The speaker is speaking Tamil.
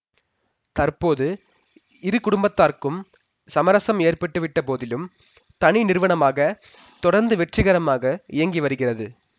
தற்போது இரு குடும்பத்தார்க்கும் சமரசம் ஏற்பட்டுவிட்ட போதிலும் தனி நிறுவனமாக தொடர்ந்து வெற்றிகரமாக இயங்கி வருகிறது